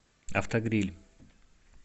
автогриль